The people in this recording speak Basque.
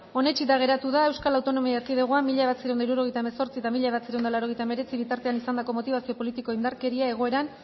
onetsita geratu da euskal autonomia erkidegoan mila bederatziehun eta hirurogeita hemezortzi eta mila bederatziehun eta laurogeita hemeretzi bitartean izandako motibazio politikoko indarkeria egoeran